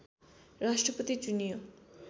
राष्ट्रपति चुनियो